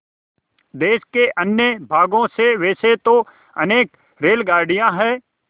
देश के अन्य भागों से वैसे तो अनेक रेलगाड़ियाँ हैं